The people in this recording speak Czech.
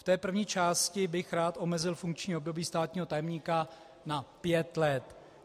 V té první části bych rád omezil funkční období státního tajemníka na 5 let.